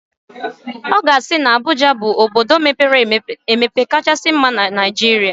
Ọ ga-asị na Abuja bụ obodo mepere emepe kachasị mma na Naijiria.